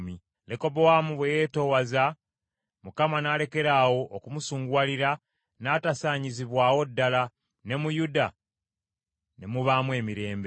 Lekobowaamu bwe yeetoowaza, Mukama n’alekeraawo okumusunguwalira n’atasaanyizibwawo ddala, ne mu Yuda ne mubaamu emirembe.